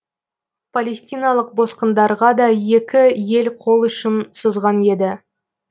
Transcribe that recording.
палестиналық босқындарға да екі ел қол ұшын созған еді